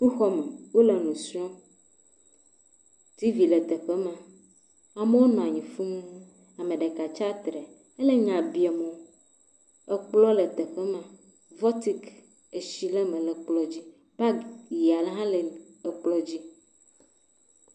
Sukuxɔme, wole nu srɔ̃m, t.v le teƒe ma, amewo nɔ anyi fũu, ame ɖeka tsi atsitre, enɔ nya biam wo, ekplɔ le teƒe ma vɔtik etsi le eme le kplɔ dzi, bagi aɖe hã le ekple dzi.